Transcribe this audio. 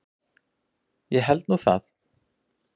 Ég held nú það!